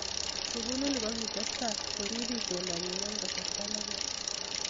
Sugulini kokitestai koriip itondanyi eng kasarta ne koi.